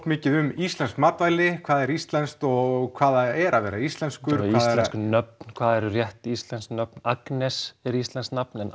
mikið um íslensk matvæli hvað er íslenskt og hvað það er að vera íslenskur íslensk nöfn hvað eru rétt íslensk nöfn Agnes er íslenskt nafn en